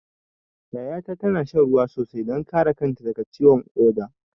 Yaya ta na shan ruwa sosai don kare kanta daga ciwon ƙoda.